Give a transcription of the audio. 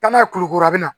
Taa n'a ye kulukoro a bɛna